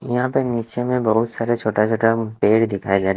यहाँ पे नीचे में बहुत सारे छोटा-छोटा पेड़ दिखाई दे रहे--